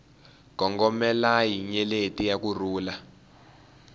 gongomelai nyeleti ya ku rhula